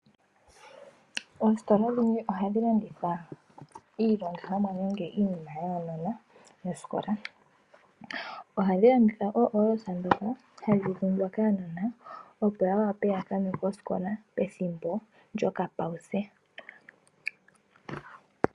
Oositola dhimwe ohadhilanditha iilandithomwa nenge iinima yaanona yosikola. Ohadhilanditha ooholosa dhoka hadhidhungwa kaanona opo yawape yakanwe kosikola pethimbo lyokapawuse.